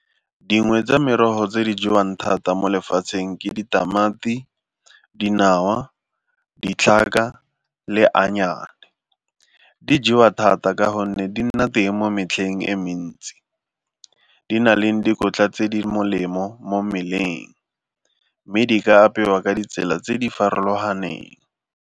Dingwe tsa merogo tse di jewang thata mo lefatsheng ke ditamati, dinawa, ditlhaka le . Di jewa thata ka gonne di nna teng mo metlheng e mentsi, di na leng dikotla tse di molemo mo mmeleng mme di ka apewa ka ditsela tse di farologaneng.